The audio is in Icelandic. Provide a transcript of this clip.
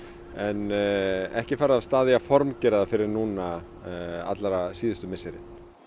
en ekki farið af stað við að formgera hana fyrr en allra síðustu misseri